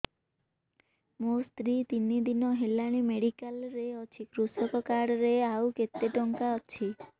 ମୋ ସ୍ତ୍ରୀ ତିନି ଦିନ ହେଲାଣି ମେଡିକାଲ ରେ ଅଛି କୃଷକ କାର୍ଡ ରେ ଆଉ କେତେ ଟଙ୍କା ଅଛି